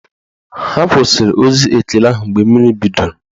Ha kwụsịrị ozi ekele ahụ mgbe mmiri bidoro